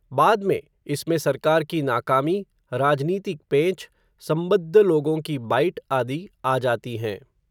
बाद में, इसमें सरकार की नाकामी, राजनीतिक पेंच, संबद्ध लोगों की बाइट, आदि आ जाती हैं